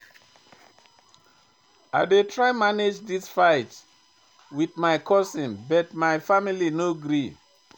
I dey try manage dis fight wit my cousin but my family no gree.